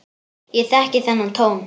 Ég þekki þennan tón.